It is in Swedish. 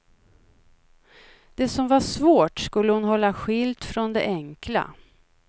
Det som var svårt skulle hon hålla skilt från det enkla.